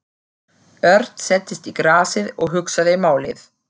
Örn settist í grasið og hugsaði málið.